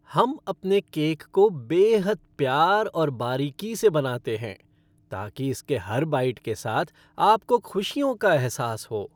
हम अपने केक को बेहद प्यार और बारीकी से बनाते हैं, ताकि इसके हर बाइट के साथ आपको खुशियों का एहसास हो।